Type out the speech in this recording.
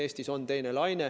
Eestis on teine laine.